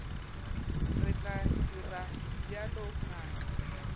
re tla dira bjalo ngaka